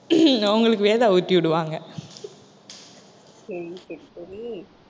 உங்களுக்கு வேதா ஊட்டி விடுவாங்க . சரி சரி சரி